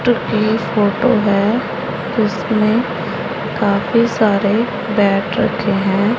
Photo है उसमें काफी सारे बैट रखे हैं।